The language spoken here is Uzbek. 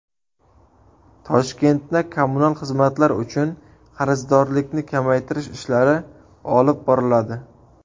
Toshkentda kommunal xizmatlar uchun qarzdorlikni kamaytirish ishlari olib boriladi.